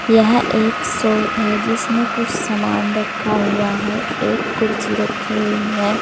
यह एक शॉप है जिसमें कुछ सामान रखा हुआ है एक कुर्सी रखी हुई है।